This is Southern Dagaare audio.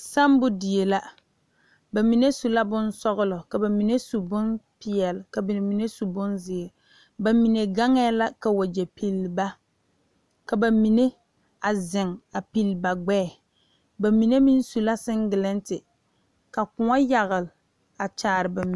Samo die la bamine su bonsɔglɔ, ka bamine su bonpeɛle ka bamine su bonziiri bamine gaŋe la ka wagye pili ba a zeŋ a pili ba gbɛɛ mine meŋ su la singleti ka kõɔ yagle a kaare bamine.